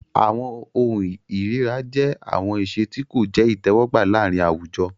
Awọn ohun ìríra jẹ awọn iṣe ti ko jẹ itẹwọgba laarin awujo.